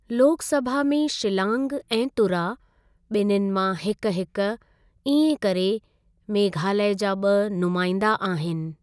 लोकसभा में शिलांग ऐं तुरा ॿिनिन मां हिक हिक, इएं करे मेघालय जा ॿ नुमांइंदा आहिनि।